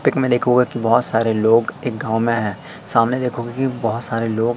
pick में देखोगे कि बहोत सारे लोग एक गांव में है सामने देखोगे की बहोत सारे लोग--